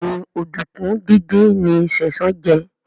Béèni Oduku dín dín ní Sesan jé.